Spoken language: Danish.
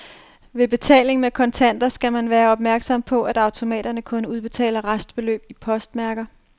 Ved betaling med kontanter skal man være opmærksom på, at automaterne kun udbetaler restbeløb i postmærker.